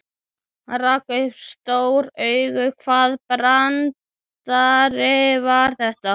Hann rak upp stór augu, hvaða brandari var þetta?